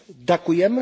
Ďakujem.